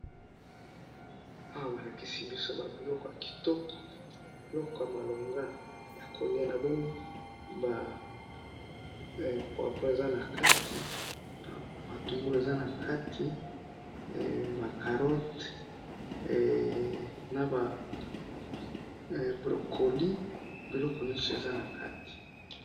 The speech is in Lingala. awa balakisi biso biloko ba kitoko biloko ya koliya